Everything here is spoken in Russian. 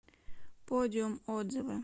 подиум отзывы